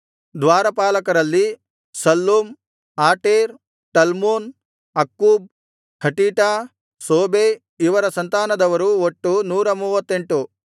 ದ್ವಾರಪಾಲಕರಲ್ಲಿ Shallum Ater Talmon Akkub Hatita Shobai ಇವರ ಸಂತಾನದವರು ಒಟ್ಟು 138